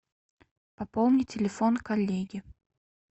пополни телефон коллеги